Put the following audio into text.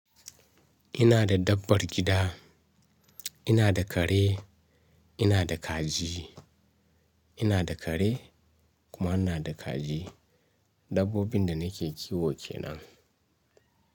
Ina da dabbar gida, ina da kare, ina da kaji, ina da kare kuma ina da kaji. Dabbobin da nake kiwo kenan.